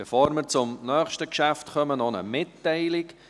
Bevor wir zum nächsten Geschäft kommen, noch eine Mitteilung: